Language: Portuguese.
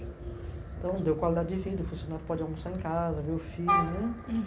Então, deu qualidade de vida, o funcionário pode almoçar em casa, ver o filho, né?